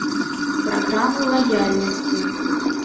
программа лояльности